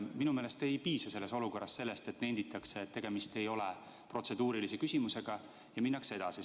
Minu meelest ei piisa selles olukorras sellest, et nenditakse, et tegemist ei ole protseduurilise küsimusega, ja minnakse edasi.